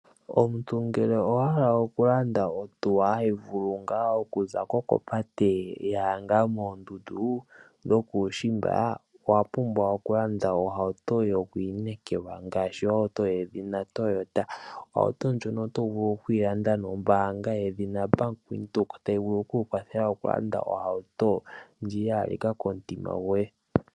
Omuntu ngele owahala okulanda ohauto hayi vulu ngaa okuzako kopate yaya ngaa moondundu dhokuushimba, owapumbwa okulanda ohauto yo ku inekelwa ngaashi yedhina Toyota . Ohauto ndjono otovulu okuyi landa nombaanga yedhina Bank Windhoek tayi vulu oku kukwathela okulanda ohauto ndjoka ya halika komutima goye.